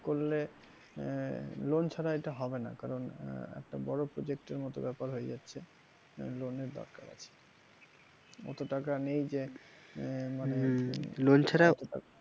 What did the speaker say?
করলে আহ loan ছাড়া এটা হবে না কারণ আহ একটা বড় project এর মত ব্যাপার হয়ে যাচ্ছে loan এর দরকার আছে অত টাকা নেই যে আহ মানে